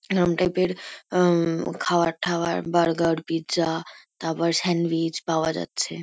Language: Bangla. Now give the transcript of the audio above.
এরম টাইপ -এর হুম খাওয়ার-ঠাওয়ার বার্গার পিৎজা তারপর স্যান্ডউইচ পাওয়া যাচ্ছে।